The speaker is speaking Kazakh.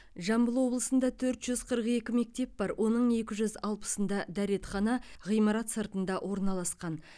жамбыл облысында төрт жүз қырық екі мектеп бар оның екі жүз алпысында дәретхана ғимарат сыртында орналасқан